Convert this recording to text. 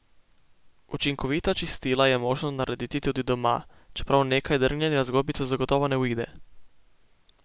Učinkovita čistila je možno narediti tudi doma, čeprav nekaj drgnjenja z gobico zagotovo ne uide.